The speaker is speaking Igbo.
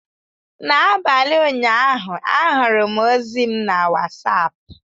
N'abalị ụnyaahụ, ahụrụ m ozi m na Wasapụ.